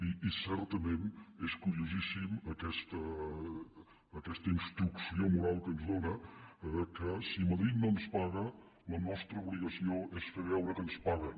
i certament és curiosíssima aquesta instrucció moral que ens dóna que si madrid no ens paga la nostra obligació és fer veure que ens paguen